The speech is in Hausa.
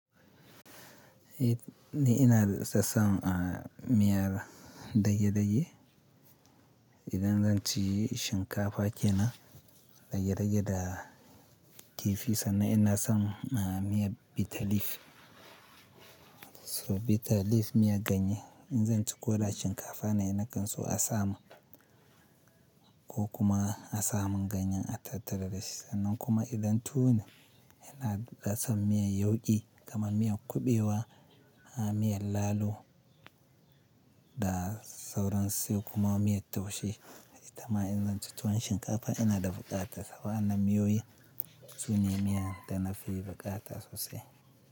Ni ina da tsatsan a miyar dage-dage. Idan zan ci shinkafa kenan rage-rage da kifi sannan ina son a miyar bitter leaf. So bitter leaf miya ganye. In zan ci ko da shinkafa na yi na gansu asam ko kuma asamin ganyen attarararashi. Sannan kuma idan tune ina da tsam miyar yauƙi, kaman miyan kuɓewa a miyan lalo da sauran su kuma miyar taushe. Ita ma idan zan ci tuwon shinkafa ina da buƙata saboda ana miyoyi. Tune miya dana fi buƙata sosai.